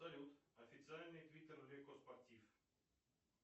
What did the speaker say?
салют официальный твиттер леко спортив